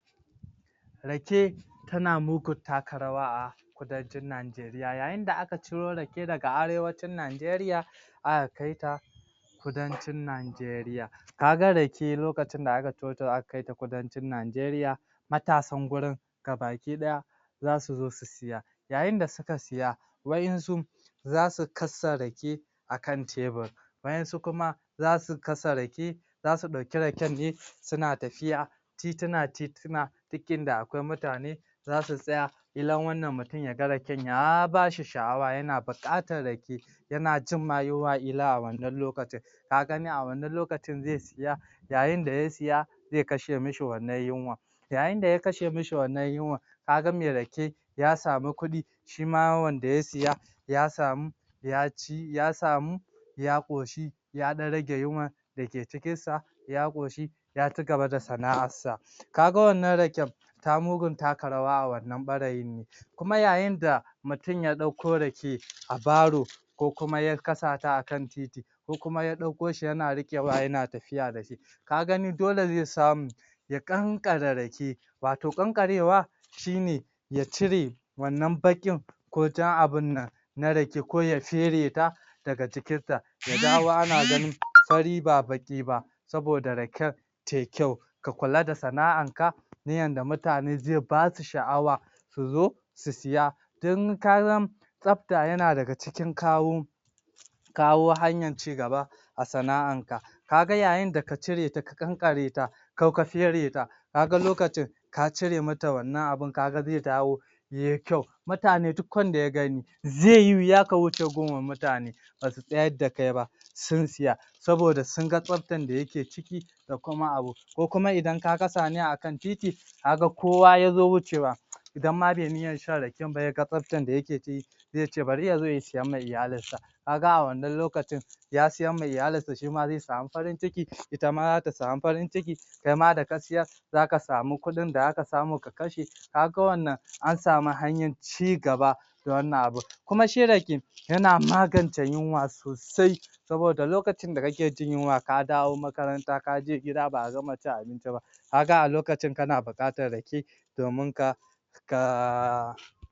Rake tana mugun taka rawa a kudancin Nigaria yayin da aka ciro rake daga arewacin Nigaria aka kaita kudancin Nigaria ka ga Rake lokacin da aka cirota aka kaita kudancin Nigaria matasan wurin gabaki ɗaya za su zo su siya yayin da suka siya wa'yansu za su kasa Rake akan tebur wayansu kuma za su kasa Rake za su ɗauki Raken ne suna tafiya titina-titina duk inda akwai mutane za su tsaya kilan wannan mutum ya ga Raken ya bashi sha'awa yana buƙatar Rake yana jin ma yunwa ƙila a wannan lokacin ka ga a wannan lokacin zai siya yayin da ya siya zai kashe mishi wannan yunwa yayin da ya kashe mishi wannan yunwa ka ga me Rake ya samu kuɗi shi ma wanda ya siya ya samu ya ci ya samu ya ƙoshi ya ɗan rage yunwa dake cikinsa ya ƙoshi ya ci gaba da sana'arsa ka ga wannan Raken ta mugun taka rawa a ɓarayin ne kuma yayin da mutum ya ɗauko Rake a Baro ko kuma ya kasata akan titi ko kuma ya ɗauko shi yana riƙewa yana tafiya da shi ka gani dole zai samu ya ƙanƙare Rake wato ƙanƙarewa shi ne ya cire wannan baƙin ko jan abinnan na Rake ko ya fere ta daga cikinta ya dawo ana ganin fari ba baƙi ba saboda Raken tai kyau ka kula da sana'arka yadda mutane zai ba su sha'awa su zo su siya tun ka ga tsafta yana daga cikin kawo kawo hanyar ci gaba a sana'anka ka ga yayin da ka cire ta ka ƙanƙare ta ko ka fere ta ka ga lokacin ka cire mata wannan abin ka ga zai dawo yai kyau mutane duk wanda ya gani zai yi wuya ka wuce gun mutane ba su tsyar da kai ba sun siya saboda sun ga tsaftar da yake ciki da kuma abin ko kuma idan ka kasa ne akan titi ka ga kowa ya zo wucewa idan ma bai niyyar shan Raken ba ya ga tsaftar da yake ciki zai ce bari ya zo ya siya ma iyalinsa ka ga a wannan lokacin ya siyamma iyalinsa shi ma zai samu farin ciki ita ma zata samu farin ciki kai ma da ka siyor za ka samu kuɗin da zaka samu ka kashe ka ga wannan an samu hanyar ci gaba da wannan abin kuma shi Rake yana magance yunwa sosai saboda loakacin da kake jin yunwa ka dawo makaranta ka je gida ba a gama cin abinci ba ka ga a lokacin kana buƙatar Rake domin ka?